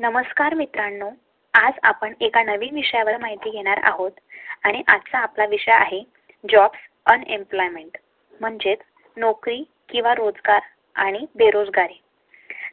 नमस्कार मित्रांनो, आज आपण एका नवीन विषयावर माहिती घेणार आहोत आणि आज चा आपला विषय आहे. job and uneployment म्हणजे नोकरी किंवा रोजगार आणि बेरोजगारी